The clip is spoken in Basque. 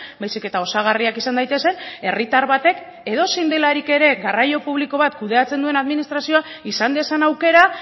baizik eta osagarriak izan daitezen herritar batek edozein delarik ere garraio publiko bat kudeatzen duen administrazioak izan dezan aukera